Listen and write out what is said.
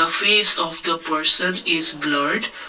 Face of the person is blurred.